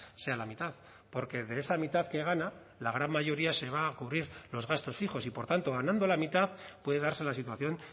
sea la mitad porque de esa mitad que gana la gran mayoría se va a cubrir los gastos fijos y por tanto ganando la mitad puede darse la situación